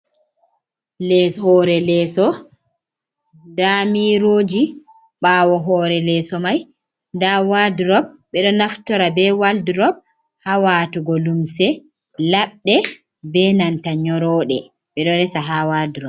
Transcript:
Les hore leso nda miroji, ɓawo hore leso mai nda waldrop ɓeɗo naftora be waldrop ha watugo limse labɗe be nanta nyorode, ɓeɗo resa ha wakmldrop.